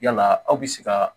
Yala aw bɛ se ka